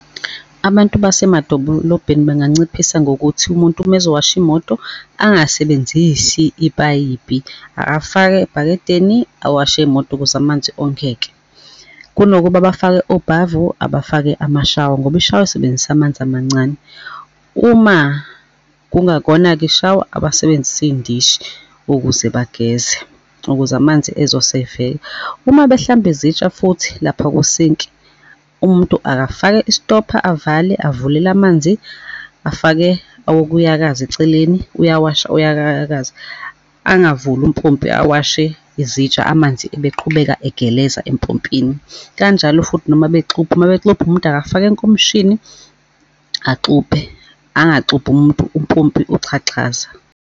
Abantu basemadolobheni benganciphisa ngokuthi umuntu, uma ezowasha imoto, angasebenzisi ipayipi, akafake ebhakedeni awashe imoto ukuze amanzi ongeke. Kunokuba bafake obhavu abafake amashawa, ngoba ishawa isebenzisa amanzi amancane. Uma kungakona-ke ishawa, abasebenzise iy'ndishi ukuze bageze, ukuze amanzi ezo-save-eka. Uma behlamba izitsha futhi lapha kusinki, umuntu akafake istopha, avale avulele amanzi, afake owokuyakaza eceleni, uyawasha, uyayakaza, angavuli umpompi awashe izitsha amanzi ebeqhubeka egeleza empompini. Kanjalo futhi noma bexubha uma bexubha umuntu akafake enkomishini axubhe angaxubhi umuntu umpompi uxhaxhaza.